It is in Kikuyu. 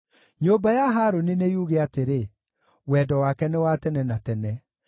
Nyũmba ya Harũni nĩyuuge atĩrĩ, “Wendo wake nĩ wa tene na tene.”